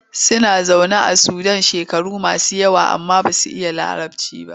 Suna zaune a Sudan shekaru masu yawa amma ba su iya Larabci ba.